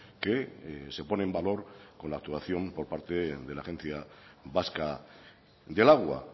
que se pone en valor con la actuación por parte de la agencia vasca del agua